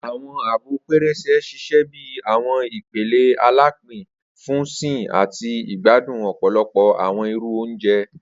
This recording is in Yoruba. Awọn abọ pẹrẹsẹ ṣiṣẹ bi awọn ipele alapin fun sìn ati igbadun ọpọlọpọ awọn iru ounjẹ.